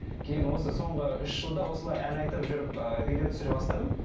кейін осы соңғы үш жылда осылай ән айтып жүріп ыыы видео түсіре бастадым